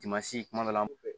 Dimansi kuma dɔ la